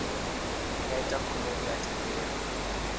nga ita khumbelo ya thendelo